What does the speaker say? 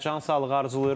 Sizə can sağlığı arzulayırıq.